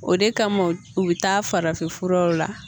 O de kama u bi taa farafinfuraw la